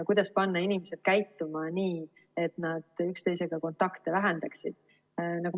Kuidas panna inimesed käituma nii, et nad üksteisega kontakte vähendaksid?